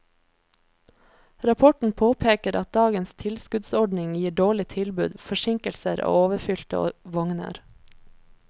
Rapporten påpeker at dagens tilskuddsordning gir dårlig tilbud, forsinkelser og overfylte vogner.